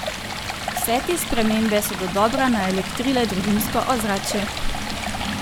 Vse te spremembe so dodobra naelektrile družinsko ozračje!